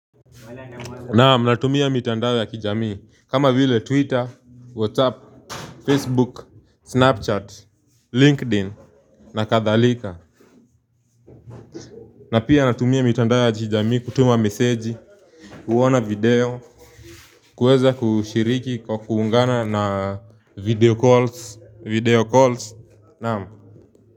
Naam, natumia mitandao ya kijamii. Kama vile Twitter, WhatsApp, Facebook, Snapchat, Linkedin, na kadhalika. Na pia natumia mitandao ya kijamii, kutuma meseji, kuona video, kuweza kushiriki kwa kuungana na video calls, Naam.